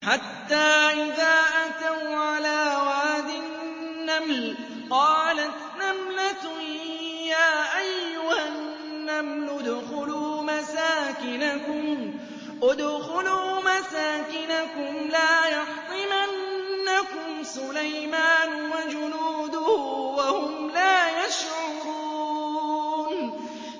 حَتَّىٰ إِذَا أَتَوْا عَلَىٰ وَادِ النَّمْلِ قَالَتْ نَمْلَةٌ يَا أَيُّهَا النَّمْلُ ادْخُلُوا مَسَاكِنَكُمْ لَا يَحْطِمَنَّكُمْ سُلَيْمَانُ وَجُنُودُهُ وَهُمْ لَا يَشْعُرُونَ